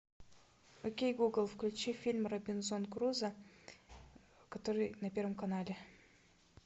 окей гугл включи фильм робинзон крузо который на первом канале